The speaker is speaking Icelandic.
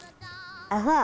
það